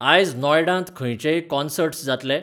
आज नॉएडांत खंयचेय कॉंसर्ट्स जातले?